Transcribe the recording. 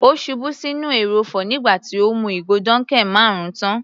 Ó ṣubú sí inú ẹrọ̀fọ̀ nígbà tí ó mú ìgò dunkel marun tán.